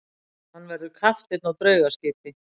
Hann verður kapteinn á draugaskipi.